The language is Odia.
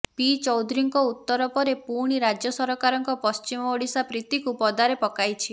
ପି ଚୌଧୁରୀଙ୍କ ଉତ୍ତର ପରେ ପୁଣି ରାଜ୍ୟ ସରକାରଙ୍କ ପଶ୍ଚିମ ଓଡିଶା ପ୍ରୀତିକୁ ପଦାରେ ପକାଇଛି